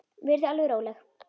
Verið þið alveg róleg.